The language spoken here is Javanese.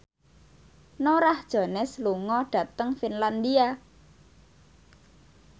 Norah Jones lunga dhateng Finlandia